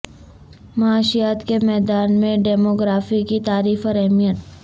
معاشیات کے میدان میں ڈیموگرافی کی تعریف اور اہمیت